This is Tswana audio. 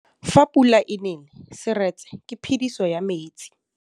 Fa pula e nelê serêtsê ke phêdisô ya metsi.